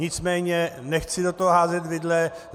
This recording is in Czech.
Nicméně nechci do toho házet vidle.